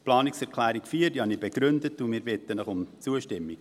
Die Planungserklärung 4 habe ich begründet, und wir bitten Sie um Zustimmung.